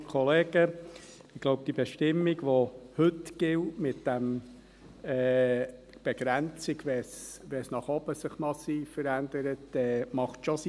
Ich glaube, die Bestimmung, die heute gilt, mit der Begrenzung, wenn es sich nach oben massiv verändert, macht schon Sinn.